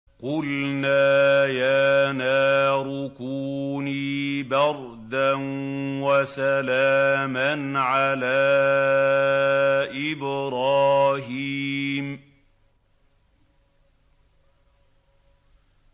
قُلْنَا يَا نَارُ كُونِي بَرْدًا وَسَلَامًا عَلَىٰ إِبْرَاهِيمَ